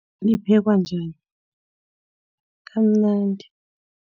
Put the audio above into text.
Liphekwa njani. Kamnandi.